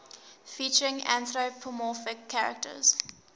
featuring anthropomorphic characters